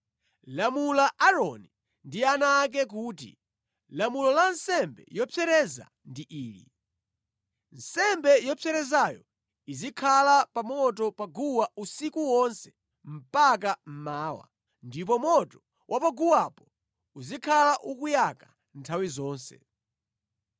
“Lamula Aaroni ndi ana ake kuti, ‘Lamulo la nsembe yopsereza ndi ili: Nsembe yopserezayo izikhala pa moto pa guwa usiku wonse mpaka mmawa, ndipo moto wa paguwapo uzikhala ukuyaka nthawi zonse.